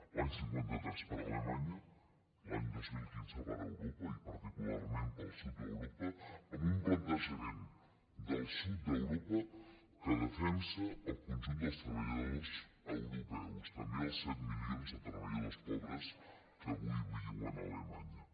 l’any cinquanta tres per a alemanya l’any dos mil quinze per a europa i particularment per al sud d’europa amb un plantejament del sud d’europa que defensa el conjunt dels treballadors europeus també els set milions de treballadors pobres que avui viuen a alemanya